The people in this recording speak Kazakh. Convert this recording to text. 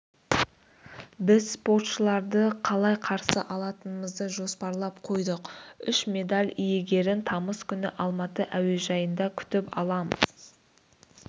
біз спортшыларды қалай қарсы алатынымызды жоспарлап қойдық үш медаль иегерін тамыз күні алматы әуежайында күтіп аламыз